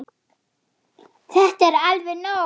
Þetta er alveg nóg!